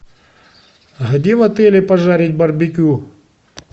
где в отеле пожарить барбекю